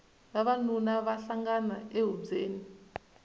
vavanuna va hlangana e hubyeni